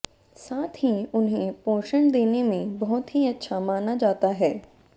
साथ ही उन्हें पोषण देने में बहुत ही अच्छा माना जाता है